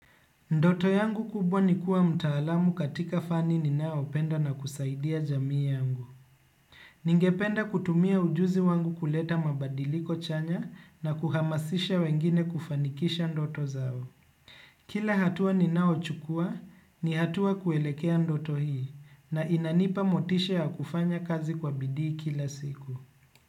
Ndoto yangu kubwa ni kuwa mtaalamu katika fani ninayo penda na kusaidia jamii yangu. Ningependa kutumia ujuzi wangu kuleta mabadiliko chanya na kuhamasisha wengine kufanikisha ndoto zao. Kila hatua ninayo chukua ni hatua kuelekea ndoto hii na inanipa motisha ya kufanya kazi kwa bidii kila siku.